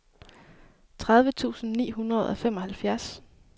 tredive tusind ni hundrede og femoghalvfjerds